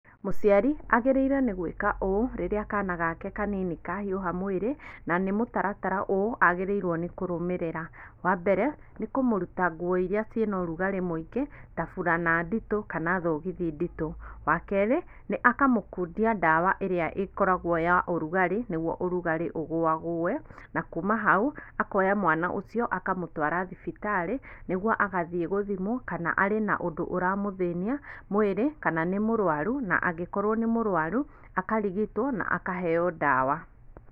Mũciari agĩrĩire nĩ gwĩka ũũ rirĩa kana gake kanini kahiũha mwĩrĩ, na nĩ mũtaratara ũũ agĩrĩrwo nĩ kũrũmĩrĩra, wambere, nĩ kũmũrũta nguo iria cina ũrugarĩ mwĩingĩ ta burana ndito, kana thogithi ndito, wakerĩ, nĩ akamũkundia ndawa ĩria ĩkoragwo ya ũrugarĩ, nĩ guo ũrugarĩ ũgũagũe, na kuma hau, akoya mwana ũcio akamũtwara thibitari, nĩ guo agathiĩ gũthimwo kana arĩ na ũndũ ũramũthĩnia, mwĩrĩ, kana nĩ mũrwaru, na angĩkorwo nĩ mũrwaru, akarigitwo na akaheyo ndawa.